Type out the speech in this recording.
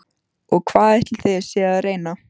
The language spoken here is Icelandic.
Og hvað ætlið þið séuð að reyna?